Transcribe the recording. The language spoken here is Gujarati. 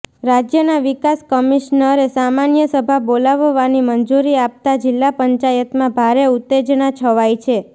રાજ્યનાં વિકાસ કમિશ્નરે સામાન્ય સભા બોલાવવાની મંજુરી આપતા જીલ્લા પંચાયતમાં ભારે ઉતેજના છવાઈ છે